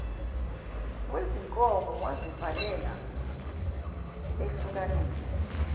wezinkomo wazivalela ehlukanisa